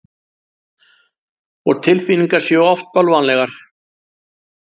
Og tilfinningar séu oft bölvanlegar.